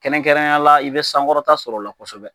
Kɛrɛnkɛrɛnnenyala i be sankɔrɔta sɔrɔ o la kosɛbɛ